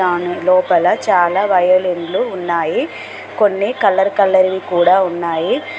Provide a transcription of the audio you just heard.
దాని లోపల చాలా వయోలిన్లు ఉన్నాయి కొన్ని కలర్ కలర్ వి కూడా ఉన్నాయి.